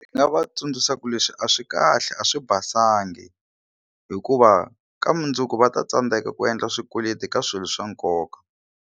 Ndzi nga va tsundzuxa ku leswi a swi kahle a swi basangi hikuva ka mundzuku va ta tsandzeka ku endla swikweleti ka swilo swa nkoka.